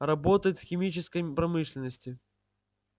работает в химической промышленности